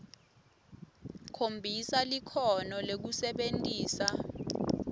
khombisa likhono lekusebentisa